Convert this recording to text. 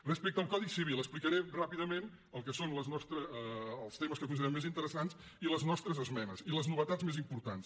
respecte al codi civil explicaré ràpidament el que són els temes que considerem més interessants i les nostres esmenes i les novetats més importants